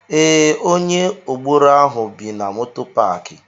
Ee, onye agboro ahụ bi na moto paaki.